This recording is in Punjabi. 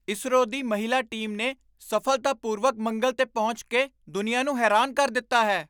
ਈਸਰੋ ਦੀ ਮਹਿਲਾ ਟੀਮ ਨੇ ਸਫ਼ਲਤਾਪੂਰਵਕ ਮੰਗਲ 'ਤੇ ਪਹੁੰਚ ਕੇ ਦੁਨੀਆ ਨੂੰ ਹੈਰਾਨ ਕਰ ਦਿੱਤਾ ਹੈ।